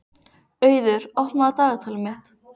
Auður, opnaðu dagatalið mitt.